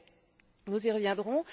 Mais nous y reviendrons.